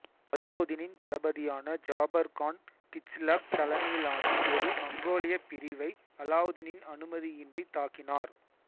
அலாவுதீனின் தளபதியான ஜாபர் கான் கிச்லக் தலைமையிலான ஒரு மங்கோலிய பிரிவை அலாவுதீனின் அனுமதியின்றி தாக்கினார்